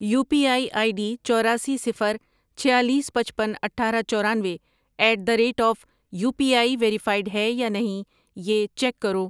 You P I I D چوراسی، صفر، چھیالیس، پچپن، اٹھارہ، چورانوے at the rate of UPI ایی ویریفائڈ ہے یا نہیں یہ چیک کرو۔